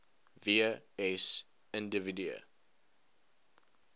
w s individue